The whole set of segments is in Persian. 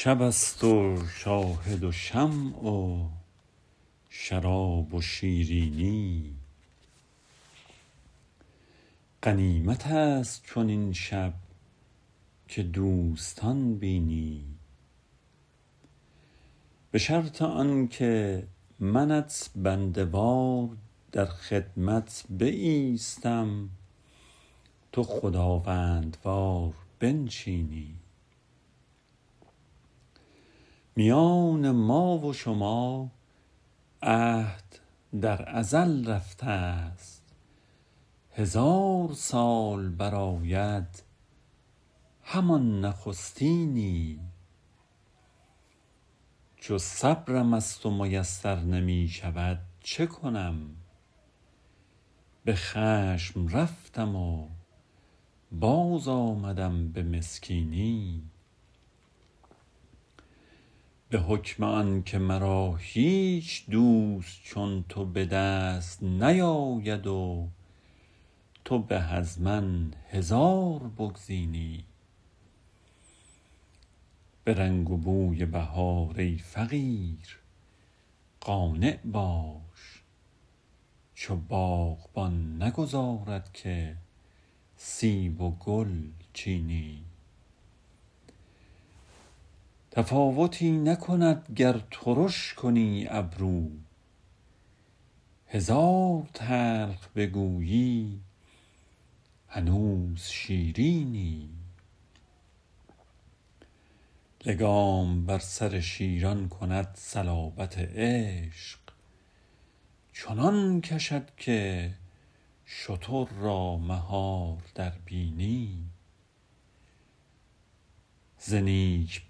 شب است و شاهد و شمع و شراب و شیرینی غنیمت است چنین شب که دوستان بینی به شرط آن که منت بنده وار در خدمت بایستم تو خداوندوار بنشینی میان ما و شما عهد در ازل رفته ست هزار سال برآید همان نخستینی چو صبرم از تو میسر نمی شود چه کنم به خشم رفتم و باز آمدم به مسکینی به حکم آن که مرا هیچ دوست چون تو به دست نیاید و تو به از من هزار بگزینی به رنگ و بوی بهار ای فقیر قانع باش چو باغبان نگذارد که سیب و گل چینی تفاوتی نکند گر ترش کنی ابرو هزار تلخ بگویی هنوز شیرینی لگام بر سر شیران کند صلابت عشق چنان کشد که شتر را مهار در بینی ز نیک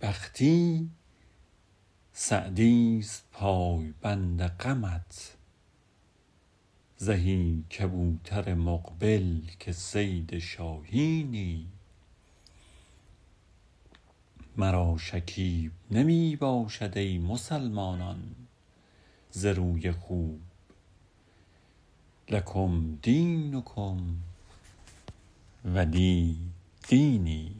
بختی سعدی ست پایبند غمت زهی کبوتر مقبل که صید شاهینی مرا شکیب نمی باشد ای مسلمانان ز روی خوب لکم دینکم ولی دینی